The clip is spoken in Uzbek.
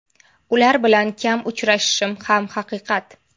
Ular bilan kam uchrashishim ham haqiqat.